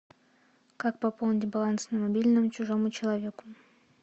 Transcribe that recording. как пополнить баланс на мобильном чужому человеку